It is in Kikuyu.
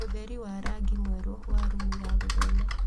ũtheri wa rangi mwerũ wa rumu ya gũthoma